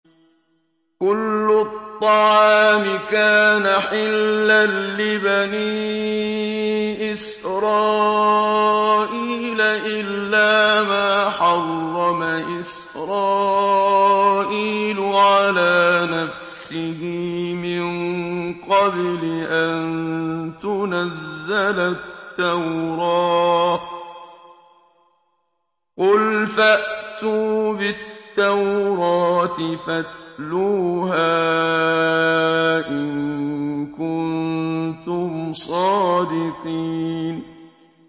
۞ كُلُّ الطَّعَامِ كَانَ حِلًّا لِّبَنِي إِسْرَائِيلَ إِلَّا مَا حَرَّمَ إِسْرَائِيلُ عَلَىٰ نَفْسِهِ مِن قَبْلِ أَن تُنَزَّلَ التَّوْرَاةُ ۗ قُلْ فَأْتُوا بِالتَّوْرَاةِ فَاتْلُوهَا إِن كُنتُمْ صَادِقِينَ